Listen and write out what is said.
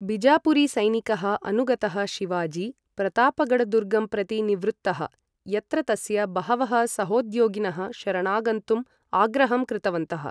बिजापुरीसैनिकः अनुगतः शिवाजी, प्रतापगढदुर्गं प्रति निवृत्तः, यत्र तस्य बहवः सहोद्योगिनः शरणागन्तुम् आग्रहं कृतवन्तः।